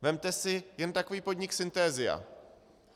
Vezměte si jen takový podnik Synthesia.